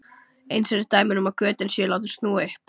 eins eru dæmi um að götin séu látin snúa upp